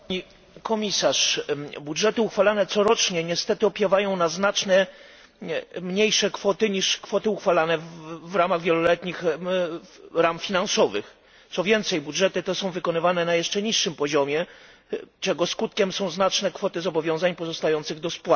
Pani przewodnicząca! Budżety uchwalane corocznie niestety opiewają na znacznie mniejsze kwoty niż kwoty uchwalane w ramach wieloletnich ram finansowych. Co więcej, budżety te są wykonywane na jeszcze niższym poziomie, czego skutkiem są znaczne kwoty zobowiązań pozostających do spłaty.